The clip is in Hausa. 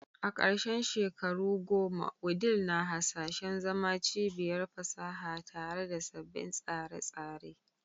A karshen shekaru goma, Wudil na hasashen zama cibiyar fasaha tare da sabbin tsare-tsare